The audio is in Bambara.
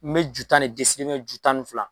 N bɛ ju tan de ju tan ni fila